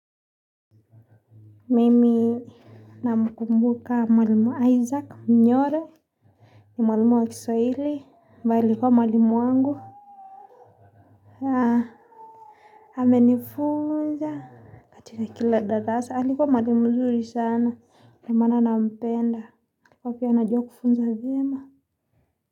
Mimi namkumbuka mwalimu Isaac Mnyore ni mwalimu wa kiswahili na alikuwa mwalimu wangu alinifunza ati ni kila darasa, alikuwa mwalimu mzuri sana ndiyo maana nampenda alikuwa anajua kufunza vyema.